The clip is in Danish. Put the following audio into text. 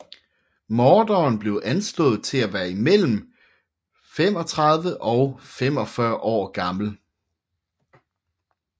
Morderen blev anslået til at være imellem 35 og 45 år gammel